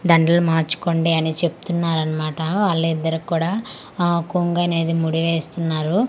దండలు మార్చుకోండి అని చెప్పుతున్నారు అన్నమాట వాలిద్దరికి కూడా కొంగు అనేది ముడి వేస్తున్నారు వాటిల్ని--